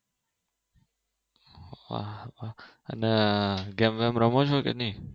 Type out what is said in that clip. અને ગેમ બેમ રમો છો કે નહિ